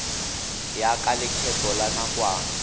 ya ka lekgetho la nakwana